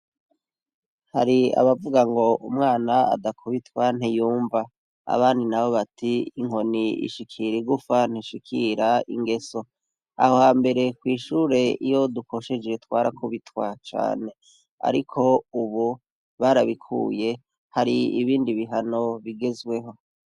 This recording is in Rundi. Hari abavuga ngo umwana adakubitwa ntiyumva, abandi nabo bati inkoni ishikira igufa ntishikira ingeso. Aho hambere kw'ishure iyo dukosheje twarakubitwa cane, ariko ubu barabikuye, hari ibindi bihano bigezweho.